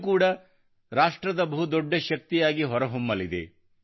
ಇದು ಕೂಡಾ ರಾಷ್ಟ್ರದ ಬಹು ದೊಡ್ಡ ಶಕ್ತಿಯಾಗಿ ಹೊರಹೊಮ್ಮಲಿದೆ